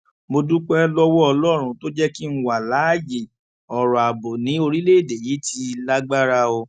mo dúpẹ lọwọ ọlọrun tó jẹ kí n wà láàyè ọrọ ààbò ni orílẹèdè yìí ti lágbára o